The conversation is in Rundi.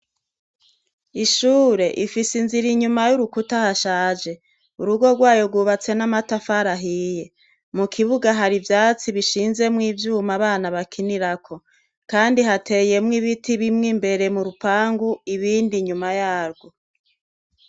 Ishure ifise inzu iri inyuma y'urukuta hashaje. Urugo rwayo rwubatse n'amatafari ahiye. Mu kibuga hari ivyatsi bishinzwemwo ivyuma abana bakinirako, kandi hateyemwo ibiti bimwe imbere mu rupangu ibindi inyuma yarwo.